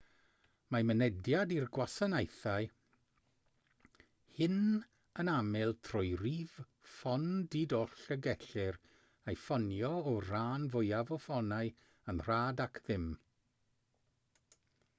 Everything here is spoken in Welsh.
mae mynediad i'r gwasanaethau hyn yn aml trwy rif ffôn di-doll y gellir ei ffonio o'r rhan fwyaf o ffonau yn rhad ac am ddim